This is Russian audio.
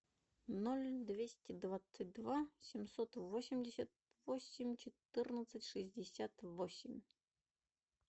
ноль двести двадцать два семьсот восемьдесят восемь четырнадцать шестьдесят восемь